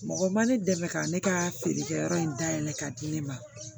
Mɔgɔ ma ne dɛmɛ ka ne ka feerekɛyɔrɔ in da yɛlɛ ka di ne ma